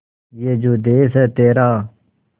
ये जो देस है तेरा